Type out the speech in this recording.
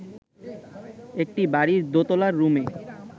একটা বাড়ির দোতলার রুমে